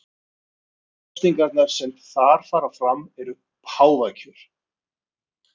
Einu kosningarnar sem þar fara fram eru páfakjör.